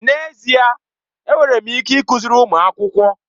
N'ezie ee! Enwere m ike ịkụziri ụmụ akwụkwọ.